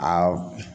Aa